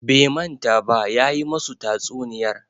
Bai manta ba, ya yi musu tatsuniyar